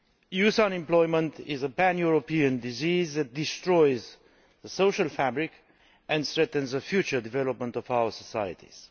Youth unemployment is a pan European disease that destroys the social fabric and threatens the future development of our societies.